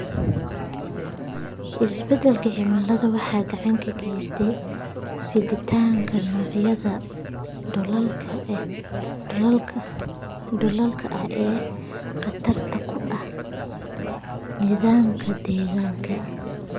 Isbeddelka cimiladu waxay gacan ka geysataa fiditaanka noocyada duullaanka ah ee khatarta ku ah nidaamka deegaanka.